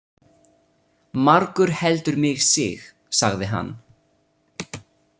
Margur heldur mig sig, sagði hann.